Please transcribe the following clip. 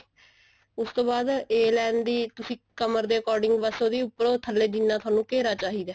ਉਸ ਤੋਂ ਬਾਅਦ a line ਦੀ ਤੁਸੀਂ ਕਮਰ ਦੇ according ਬੱਸ ਉਹਦੀ ਉੱਪਰੋ ਥੱਲੇ ਜਿੰਨਾ ਤੁਹਾਨੂੰ ਘੇਰਾ ਚਾਹੀਦਾ